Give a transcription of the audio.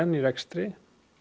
í rekstri